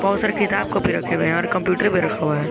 बहोत सारे किताब कापी रखे हुए हैं और कंप्यूटर भी रखा हुआ है।